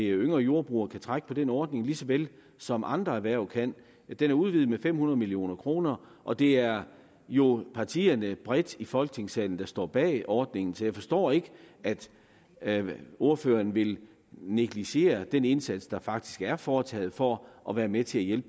yngre jordbrugere kan trække på den ordning lige så vel som andre erhverv kan den er udvidet med fem hundrede million kr og det er jo partierne bredt i folketingssalen der står bag ordningen så jeg forstår ikke at at ordføreren vil negligere den indsats der faktisk er foretaget for at være med til